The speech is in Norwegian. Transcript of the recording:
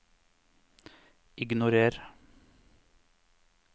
ignorer